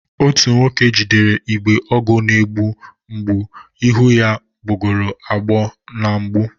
Otu nwoke jidere igbe ọgwụ na-egbu mgbu, ihu ya gbagọrọ agbagọ na mgbu